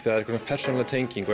einhver persónuleg tenging